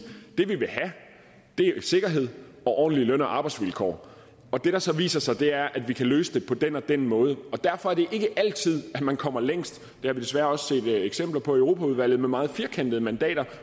det er sikkerhed og ordentlige løn og arbejdsvilkår og det der så viser sig er at vi kan løse det på den og den måde og derfor er det ikke altid at man kommer længst det har vi desværre også set eksempler på i europaudvalget med meget firkantede mandater